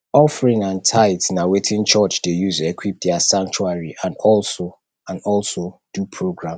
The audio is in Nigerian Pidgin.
offerings and tithe na wetin church de use equip their sanctuary and also and also do programs